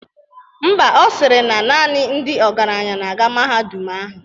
Ḿbà, Ọ sịrị na naanị ndị ọgaranya na-aga na mahadum ahụ.